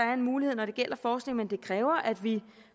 er en mulighed når det gælder forskning men det kræver at vi